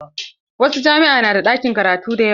Wasu jami'a na da ɗakin karatu da yawa.